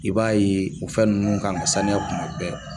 I b'a ye o fɛn nunnu kan ka sanuya kuma bɛɛ